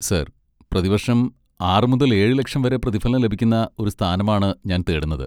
Sir, പ്രതിവർഷം ആറ് മുതൽ ഏഴ് ലക്ഷം വരെ പ്രതിഫലം ലഭിക്കുന്ന ഒരു സ്ഥാനമാണ് ഞാൻ തേടുന്നത്.